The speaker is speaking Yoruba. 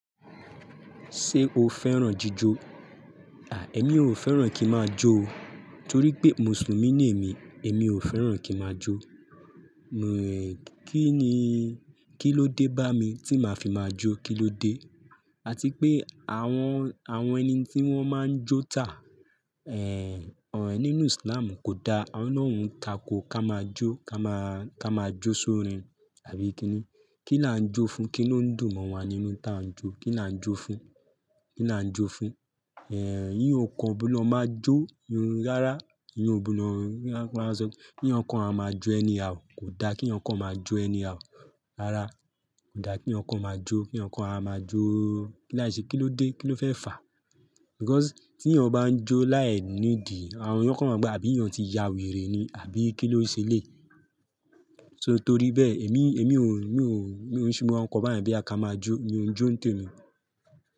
Ṣé o fẹ́ràn jíjó? Àì, ẹ́mi ò fẹ́ràn kí máa jó o. Torí pé Mùsùlùmí ni èmi, èmi ò fẹ́ràn kí máa jó. Mi, kí ni, kí ló dé bá mi tí màá fi máa jó, kí ló dé? Àti pé àwọn, àwọn ẹni tí wọ́n máa ń jó tà, ẹ̀, ẹ́ nínú Islam kò dá, àwọn náà ń takò ká máa jó, ká máa, ká máa jó sórin àbí kíni? Kí láà ń jó fún? Kí ló ń dùn mọ́ wa nínú tí à ń jó? Kí náà ń jó fún? Kí náà ń jó fún? Ẹ̀, eeyàn o kan gbọ̀do máa jó, hmm rárá, eeyan o gbọ̀do máa sọ, kí eeyan kọ máa ma jó anyhow, kò dá kí eeyan kọ máa jó anyhow. Rárá, kò dá kí eeyan ko máa jó, kí eeyan kọ máa jóóò, kí láì ṣe kí ló dé, kí ló fẹ́ fà? Because tí ẹ̀nìyàn bá ń jó láì nídìí, àwọn eeyan kọ máa ma wo pé àbí ènìyàn ti ya wèrè ni àbí kí ló ṣe leyi. So torí bẹ́ẹ̀ èmi, èmi ò ń, mi ò ń, mi ò ń ṣe, mo máa ń se nkan bẹ́ẹ̀yen,.boya ká máa jó, mi ò ń jó nítòní.